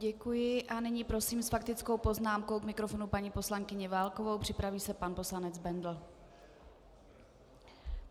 Děkuji a nyní prosím s faktickou poznámkou k mikrofonu paní poslankyni Válkovou, připraví se pan poslanec Bendl.